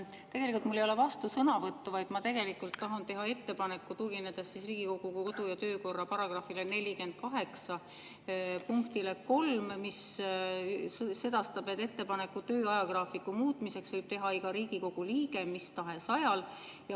Tegelikult mul ei ole vastusõnavõtt, vaid ma tahan teha ettepaneku, tuginedes Riigikogu kodu‑ ja töökorra § 48 punktile 3, mis sedastab, et ettepaneku töö ajagraafiku muutmiseks võib teha iga Riigikogu liige mis tahes ajal.